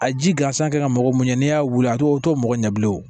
A ji gansan ka mɔgɔ mun ye n'i y'a wuli a tɛ o t'o mɔgɔ ɲɛ bilen o